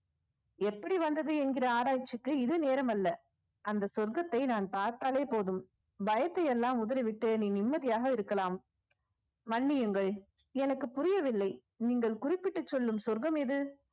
எப்படி வந்தது என்கிற ஆராய்ச்சிக்கு இது நேரமல்ல அந்த சொர்க்கத்தை நான் பார்த்தாலே போதும் பயத்தை எல்லாம் உதறிவிட்டு நீ நிம்மதியாக இருக்கலாம் மன்னியுங்கள் எனக்கு புரியவில்லை நீங்கள் குறிப்பிட்டுச் சொல்லும் சொர்க்கம் எது